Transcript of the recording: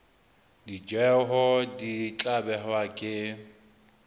ditjeo di tla behwa ke